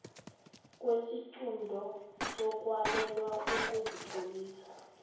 kwesiqunto sokwalelwa ukuzitlolisa